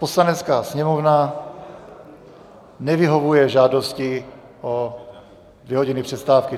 Poslanecká sněmovna nevyhovuje žádosti o dvě hodiny přestávky.